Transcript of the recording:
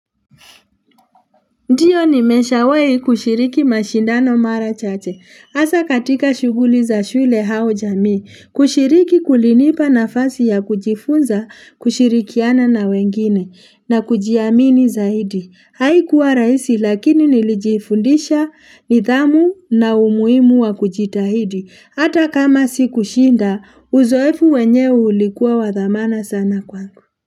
Ndiyo nimesha wai kushiriki mashindano mara chache. Hasa katika shughuli za shule au jamii, kushiriki kulinipa na fasi ya kujifunza, kushirikiana na wengine, na kujiamini zaidi. Haikuwa rahisi lakini nilijifundisha nithamu na umuhimu wa kujitahidi. Hata kama si kushinda, uzoefu wenyewe ulikuwa wathamana sana kwangu.